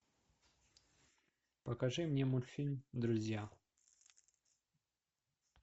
покажи мне мультфильм друзья